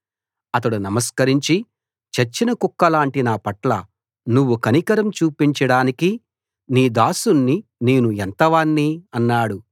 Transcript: అతడు నమస్కరించి చచ్చిన కుక్కలాంటి నా పట్ల నువ్వు కనికరం చూపించడానికి నీ దాసుణ్ణి నేను ఎంతవాణ్ణి అన్నాడు